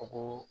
A ko